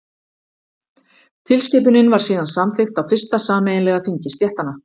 tilskipunin var síðan samþykkt á fyrsta sameiginlega þingi stéttanna